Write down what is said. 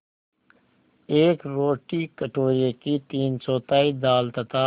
एक रोटी कटोरे की तीनचौथाई दाल तथा